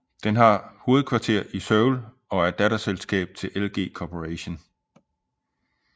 Den har hovedkvarter i Seoul og er et datterselskab til LG Corporation